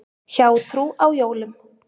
Hjátrú á jólum.